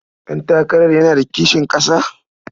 Ɗantakarar yana da kishin ƙasa?